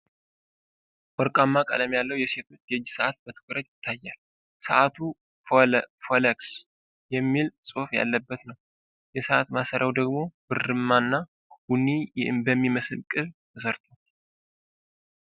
ወርቃማ ቀለም ያለው የሴቶች የእጅ ሰዓት በትኩረት ይታያል። ሰዓቱ "ሮለክስ" የሚል ጽሑፍ ያለበት ነው። የሰዓት ማሰሪያው ደግሞ ብርማ እና ቡኒ በሚመስል ቅብ ተሠርቷል።